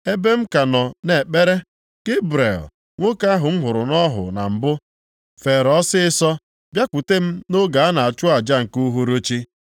ebe m ka nọ na-ekpere, Gebrel, nwoke ahụ m hụrụ nʼọhụ na mbụ, feere ọsịịsọ bịakwute m nʼoge a na-achụ aja nke uhuruchi.